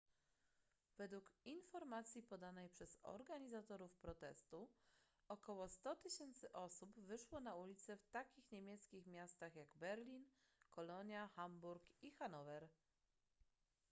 według informacji podanej przez organizatorów protestu około 100 000 osób wyszło na ulice w takich niemieckich miastach jak berlin kolonia hamburg i hanower